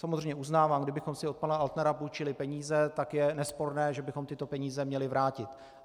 Samozřejmě uznávám, kdybychom si od pana Altnera půjčili peníze, tak je nesporné, že bychom tyto peníze měli vrátit.